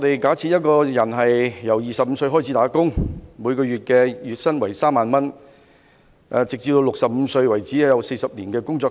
假設一個人由25歲開始工作，月薪為3萬元，直至65歲為止，有40年在工作。